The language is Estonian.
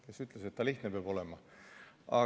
Kes ütles, et see lihtne peab olema?